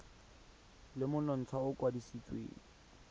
le monontsha o o kwadisitsweng